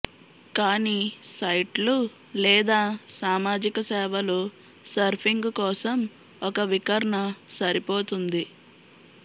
కానీ సైట్లు లేదా సామాజిక సేవలు సర్ఫింగ్ కోసం ఒక వికర్ణ సరిపోతుంది